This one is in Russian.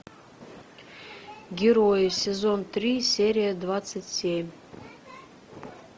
герои сезон три серия двадцать семь